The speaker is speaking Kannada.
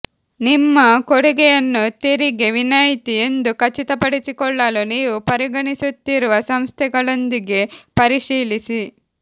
ನಿಮ್ಮ ಕೊಡುಗೆಯನ್ನು ತೆರಿಗೆ ವಿನಾಯಿತಿ ಎಂದು ಖಚಿತಪಡಿಸಿಕೊಳ್ಳಲು ನೀವು ಪರಿಗಣಿಸುತ್ತಿರುವ ಸಂಸ್ಥೆಗಳೊಂದಿಗೆ ಪರಿಶೀಲಿಸಿ